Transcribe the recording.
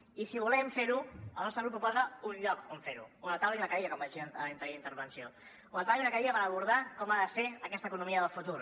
i si volem fer ho el nostre grup proposa un lloc on fer ho una taula i una cadira com vaig dir en l’anterior intervenció una taula i una cadira per abordar com ha de ser aquesta economia del futur